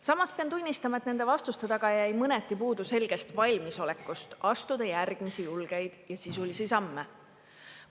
Samas pean tunnistama, et nende vastuste taga jäi mõneti puudu selgest valmisolekust astuda järgmisi, julgeid ja sisulisi samme.